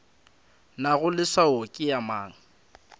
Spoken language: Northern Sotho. nago leswao ke ya mang